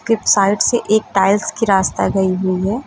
के साइड से एक टाइल्स के रास्ता गई हुई है।